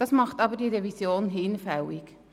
Das macht diese Revision jedoch hinfällig.